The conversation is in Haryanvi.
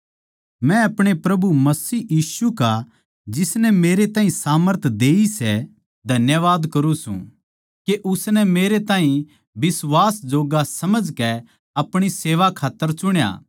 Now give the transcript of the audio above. मै अपणे प्रभु मसीह यीशु का जिसनै मेरै ताहीं सामर्थ देई सै धन्यवाद करूँ सूं के उसनै मेरै ताहीं बिश्वास जोग्गा समझकै अपणी सेवा कै खात्तर चुण्या